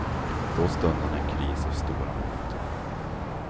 Då stundade en kris av stora mått.